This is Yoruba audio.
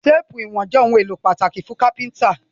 Téèpù ìwọ̀n jé òun èló pàtàkì fún kápẹ́ńtà